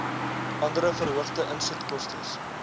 andere verhoogde insetkostes